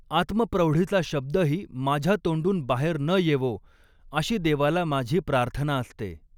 आत्मप्रौढीचा शब्दही माझ्या तोंडून बाहेर न येवो, अशी देवाला माझी प्रार्थना असते.